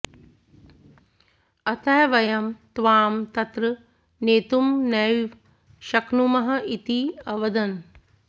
अतः वयं त्वां तत्र नेतुं नैव शक्नुमः इति अवदन्